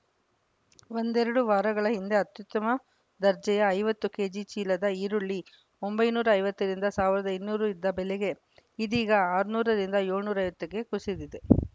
ಒಂದೆರಡು ವಾರಗಳ ಹಿಂದೆ ಅತ್ಯುತ್ತಮ ದರ್ಜೆಯ ಐವತ್ತು ಕೆಜಿ ಚೀಲದ ಈರುಳ್ಳಿ ಒಂಬೈನೂರ ಐವತ್ತರಿಂದ ಸಾವಿರದ ಇನ್ನೂರು ಇದ್ದ ಬೆಲೆ ಇದೀಗ ಆರುನೂರರಿಂದ ಏಳುನೂರ ಐವತ್ತಕ್ಕೆ ಕುಸಿದಿದೆ